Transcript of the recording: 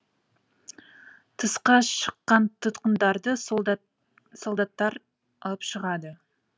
тысқа шыққан тұтқындарды солдаттар алып шығады